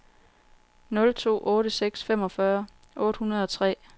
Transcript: nul to otte seks femogfyrre otte hundrede og tre